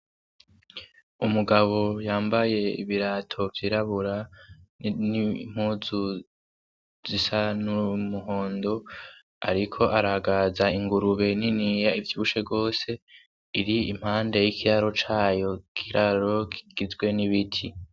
Umugabo yambaye ibirato vyirabura n'impuzu zisa n'umuhondo ariko aragaza ingurube niniya ivyibushe gose iri impande y'ikiraro cayo ikiraro kigizwe n'ibiti.